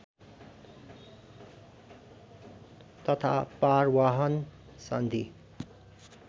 तथा पारवाहन सन्धि